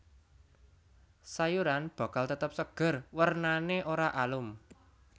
Sayuran bakal tetep seger wernané ora alum